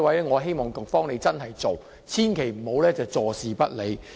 我希望局長可以落實這安排，千萬不要坐視不理。